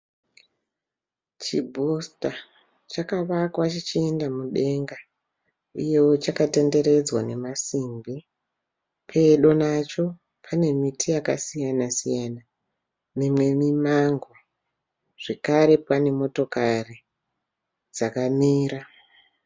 Chibhusita chakavakwa chichienda mudenga uyewo chakatenderedzwa nemasimbi. Pedo nacho pane miti yakasiyana siyana mimwe mimango zvekare pane motokari dzakamira.